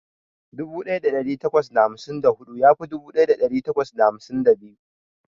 Dubu daya dari takwas da hamsin da hudu ya fi dubu daya dari takwas da hamsin da biyu.